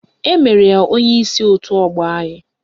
Emere ya onyeisi otu ọgbọ anyị